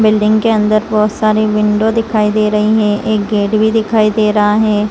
Building के अंदर बहुत सारी विंडो दिखाई दे रही हैं एक गेट भी दिखाई दे रहा है।